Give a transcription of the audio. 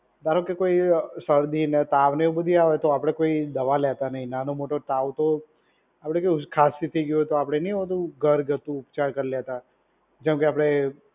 ધારો કે, કોઈ શરદી ને તાવ એ આવું બધુ આવે તો આપડે કોઈ દવા લેતા નહીં. નાનો મોટો તાવ તો આપડે કેવું ખાસી થઈ ગઈ હોય તો આપડે નહીં હોતું ઘરગથ્થું ઉપચાર કરી લેતા. જેમએ કે આપડે